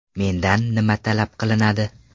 Mendan nima talab qilinadi?